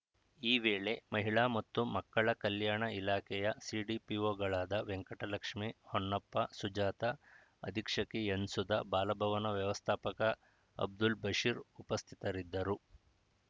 ಈ ವೇಳೆ ಮಹಿಳಾ ಮತ್ತು ಮಕ್ಕಳ ಕಲ್ಯಾಣ ಇಲಾಖೆಯ ಸಿಡಿಪಿಒಗಳಾದ ವೆಂಕಟಲಕ್ಷ್ಮೇ ಹೊನ್ನಪ್ಪ ಸುಜಾತಾ ಅಧೀಕ್ಷಕಿ ಎನ್‌ಸುಧಾ ಬಾಲಭವನ ವ್ಯವಸ್ಥಾಪಕ ಅಬ್ದುಲ್‌ ಬಷಿರ್‌ ಉಪಸ್ಥಿತರಿದ್ದರು